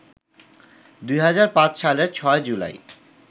২০০৫ সালের ৬ জুলাই